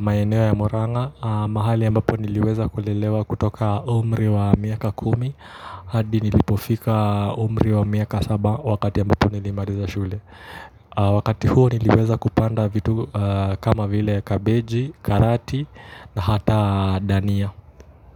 maeneo ya murang'a, mahali ambapo niliweza kulelewa kutoka umri wa miaka kumi, hadi nilipofika umri wa miaka saba wakati ambapo nilimaliza shule. Wakati huo niliweza kupanda vitu kama vile kabeji, karati na hata dania.